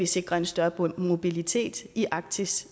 sikre en større mobilitet i arktis